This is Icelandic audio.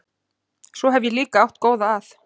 Svo hef ég líka átt góða að.